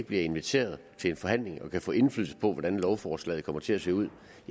blevet inviteret til en forhandling og ikke kan få indflydelse på hvordan lovforslaget kommer til at se ud